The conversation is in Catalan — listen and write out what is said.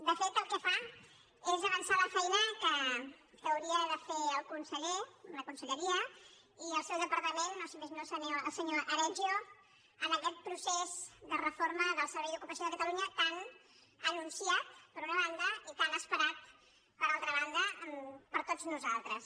de fet el que fa és avançar la feina que hau·rien de fer el conseller la conselleria i el seu departa·ment o si més no el senyor aregio en aquest procés de reforma del servei d’ocupació de catalunya tan anunciat per una banda i tan esperat per altra ban·da per tots nosaltres